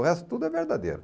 O resto tudo é verdadeiro.